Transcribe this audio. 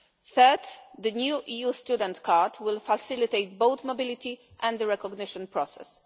Third, the new EU student card will facilitate both mobility and the recognition process.